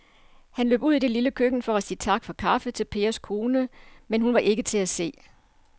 Han løb ud i det lille køkken for at sige tak for kaffe til Pers kone, men hun var ikke til at se.